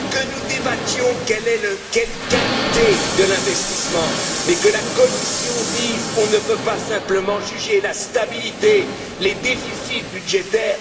Que nous débattions de la qualité de l'investissement, mais que la Commission dise On ne peut pas simplement juger la stabilité, les déficits budgétaires